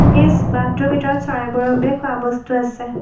বাঁহটোৰ ভিতৰত চৰাইবোৰৰ বাবে খোৱা বস্তু আছে।